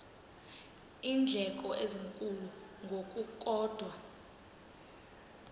iindleko ezinkulu ngokukodwa